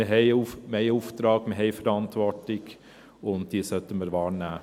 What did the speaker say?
Denn wir haben einen Auftrag, wir haben Verantwortung, und diese sollten wir wahrnehmen.